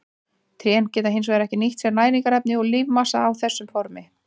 Trén geta hins vegar ekki nýtt sér næringarefni úr lífmassanum á þessu formi.